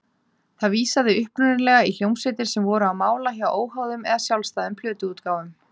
Það vísaði upprunalega í hljómsveitir sem voru á mála hjá óháðum eða sjálfstæðum plötuútgáfum.